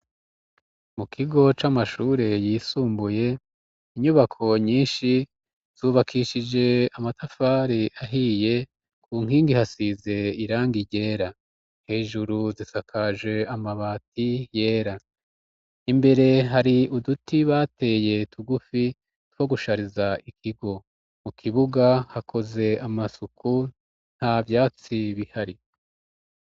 Mu kigo c'amashure yisumbuye inyubako nyinshi zubakishije amatafari ahiye ku nkingi hasize irangi ryera hejuru zisakaje amabati yera imbere hari uduti bateye tugufi two gushariza ikigo, mu kibuga hakoze amasuku nta vyatsi bihari.